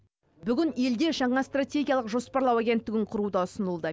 бүгін елде жаңа стратегиялық жоспарлау агенттігін құру да ұсынылды